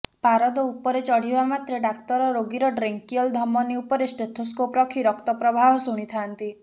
ପାରଦ ଉପରେ ଚଢିବା ମାତ୍ରେ ଡାକ୍ତର ରୋଗୀର ଡ୍ରେଙ୍କିୟଲ ଧମନୀ ଉପରେ ଷ୍ଟେଥୋସ୍କୋପ ରଖି ରକ୍ତ ପ୍ରବାହ ଶୁଣିଥାନ୍ତି